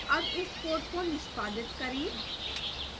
अब इस code को निष्पादित करें